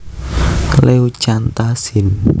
leucantha sin